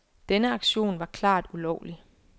Denne aktion var klart ulovlig.